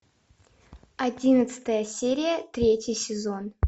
одиннадцатая серия третий сезон